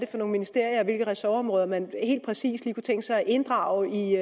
for nogle ministerier og hvilke ressortområder man helt præcis lige kunne tænke sig at inddrage i